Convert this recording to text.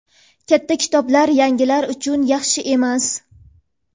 katta kitoblar "yangilar" uchun yaxshi emas.